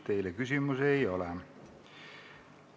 Teile küsimusi ei ole.